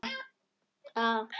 jörð fannst æva